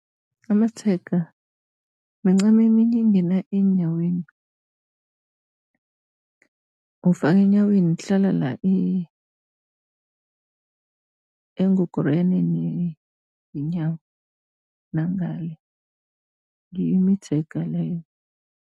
Amatshega mincamo eminye engena eenyaweni. Ufaka enyaweni, kuhlala la engogoriyaneni yenyawo, nangale, ngiyo imitshega leyo.